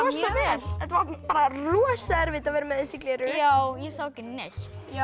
vel þetta var bara rosa erfitt að vera með þessi gleraugu já ég sá ekki neitt